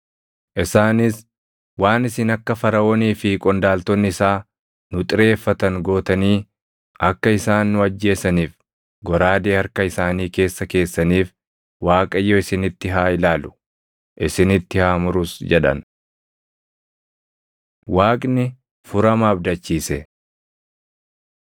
isaanis, “Waan isin akka Faraʼoonii fi qondaaltonni isaa nu xireeffatan gootanii akka isaan nu ajjeesaniif goraadee harka isaanii keessa keessaniif Waaqayyo isinitti haa ilaalu; isinitti haa murus!” jedhan. Waaqni Furama Abdachiise